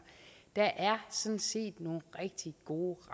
der er sådan set nogle rigtig gode